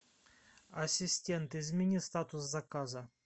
ассистент измени статус заказа